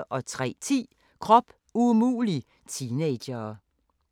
03:10: Krop umulig – teenagere